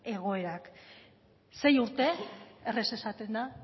egoerak sei urte erraz esaten da